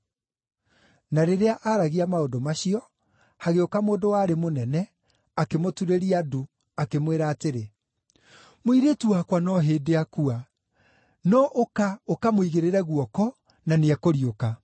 Na rĩrĩa aaragia maũndũ macio, hagĩũka mũndũ warĩ mũnene, akĩmũturĩria ndu, akĩmwĩra atĩrĩ, “Mũirĩtu wakwa no hĩndĩ aakua; no ũka ũkamũigĩrĩre guoko, na nĩekũriũka.”